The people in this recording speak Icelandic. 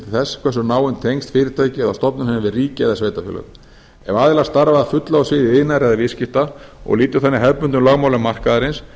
þess hversu náin tengsl fyrirtæki eða stofnun hefur við ríki eða sveitarfélög ef aðilar starfa að fullu á sviði iðnaðar eða viðskipta og lýtur þannig hefðbundnum lögmálum markaðarins